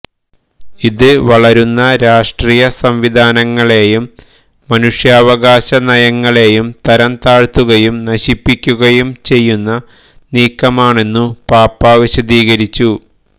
ഇത് വളരുന്ന രാഷ്ട്രീയ സംവിധാനങ്ങളെയും മനുഷ്യാവകാശ നയങ്ങളെയും തരംതാഴ്ത്തകയും നശിപ്പിക്കുകയും ചെയ്യുന്ന നീക്കമാണെന്നു പാപ്പാ വിശദീകരിച്ചു